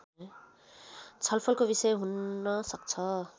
छलफलको विषय हुन सक्छ